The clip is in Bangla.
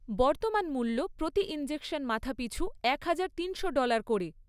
বর্তমান মূল্য প্রতি ইনজেকশন মাথাপিছু একহাজার তিনশো ডলার করে।